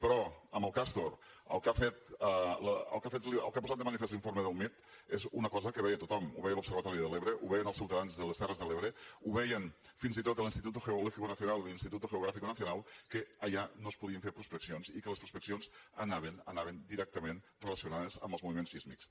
però amb el castor el que ha posat de manifest l’informe del mit és una cosa que veia tothom ho veia l’observatori de l’ebre ho veien els ciutadans de les terres de l’ebre ho veien fins i tot l’instituto geológico nacional i l’instituto geográfico nacional que allà no es podien fer prospeccions i que les prospeccions anaven anaven directament relacionades amb els moviments sísmics